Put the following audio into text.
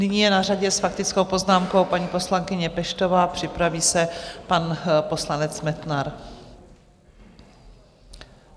Nyní je na řadě s faktickou poznámkou paní poslankyně Peštová, připraví se pan poslanec Metnar.